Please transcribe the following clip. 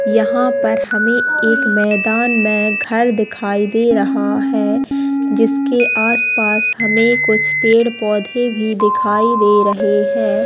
यहाँ पर हमें एक मैदान में घर दिखाई दे रहा है जिसके आसपास हमें कुछ पेड़ -पौधे भी दिखाई दे रहे हैं।